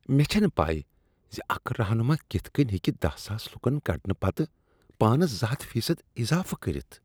مےٚ چھنہٕ پَے زِ اکھ رہنما کتھ کٔنۍ ہیٚکہ دہَ ساس لکن کڈنہٕ پتہٕ پانس زٕ ہتھَ فی صد اضافہٕ کٔرتھ